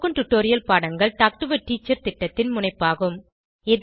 spoken tutorial பாடங்கள் talk to a teacher திட்டத்தின் முனைப்பாகும்